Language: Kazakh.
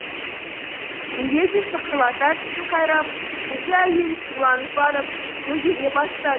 миледи шықырлата тісін қайрап жүзі әуелі сұрланып барып көгере бастады